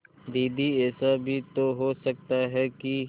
दीदी ऐसा भी तो हो सकता है कि